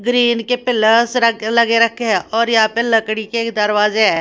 Green के pillars रख लगे रखे हैं और यहां पे लकड़ी के दरवाजे हैं।